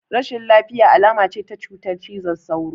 Rashin lafiya alama ce ta cutar cizon sauro